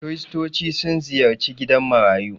Kiristoci sun ziyarci gidan marayu.